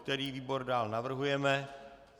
Který výbor dále navrhujeme?